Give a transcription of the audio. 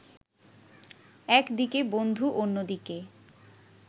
একদিকে বন্ধু অন্যদিকে